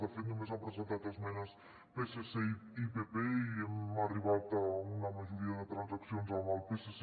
de fet només han presentat esmenes psc i pp i hem arribat a una majoria de transaccions amb el psc